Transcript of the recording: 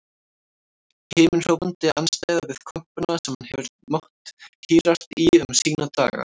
Himinhrópandi andstæða við kompuna sem hann hefur mátt hírast í um sína daga.